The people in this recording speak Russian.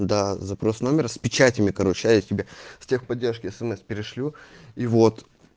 да запрос номер с печатями короче я тебе в техподдержке смс перешлю и вот